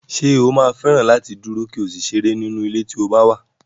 Ṣé o máa fẹ́ràn láti dúró, kí o sì ṣeré nínú ilé tí o bá wà?